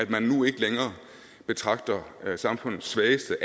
man nu ikke længere betragter alle samfundets svageste